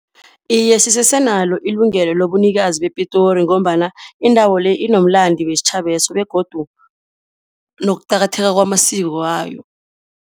Iye, sisese nalo ilungelo lobunikazi bePitori ngombana indawo le inomlando wesitjhabeso begodu nokuqakatheka kwamasiko wayo.